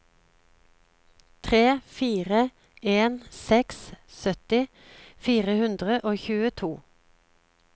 tre fire en seks sytti fire hundre og tjueto